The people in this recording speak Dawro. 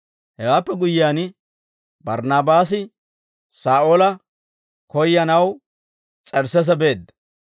Hewaappe guyyiyaan, Barnaabaasi Saa'oola koyyanaw S'ersseese beedda.